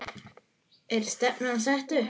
Er stefnan sett upp?